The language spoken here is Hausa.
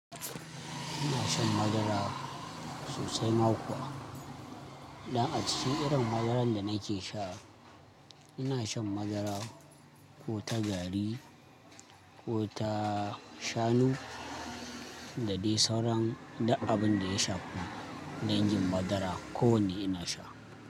Ina shan madara sosai ma kuwa. Dan a cikin irin madaran da nake sha, ina shan madara ko ta gari ko ta shanu da dai sauran duk abin da ya shafi. Dan gin madara kowan ne ina sha.